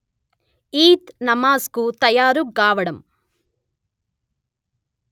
ఈద్ నమాజ్ కు తయారు గావడం